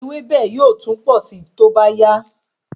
Ewébẹ̀ yóò tún posi toba ya